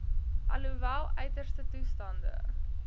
alhoewel uiterste toestande